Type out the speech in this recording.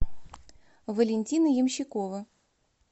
валентина ямщикова